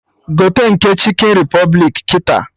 Gote nke ndị Chikin Repụblik kịta!